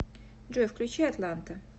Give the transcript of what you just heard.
джой включи атланта